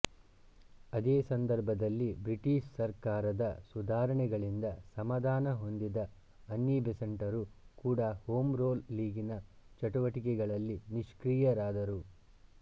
ಅದೇ ಸಂದರ್ಭದಲ್ಲಿ ಬ್ರಿಟಿಷ್ ಸರ್ಕಾರದ ಸುಧಾರಣೆಗಳಿಂದ ಸಮಾಧಾನ ಹೊಂದಿದ ಅನ್ನಿ ಬೆಸೆಂಟರೂ ಕೂಡ ಹೋಮ್ ರೂಲ್ ಲೀಗಿನ ಚಟುವಟಿಕೆಗಳಲ್ಲಿ ನಿಷ್ಕ್ರಿಯರಾದರು